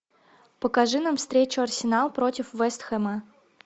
покажи нам встречу арсенал против вест хэма